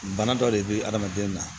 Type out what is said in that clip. Bana dɔ de bɛ adamaden na